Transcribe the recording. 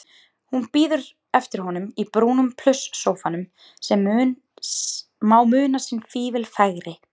Hún bíður eftir honum í brúnum plusssófanum sem má muna sinn fífil fegri.